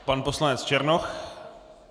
Pan poslanec Černoch.